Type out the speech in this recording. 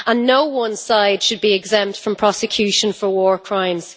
No one side should be exempt from prosecution for war crimes.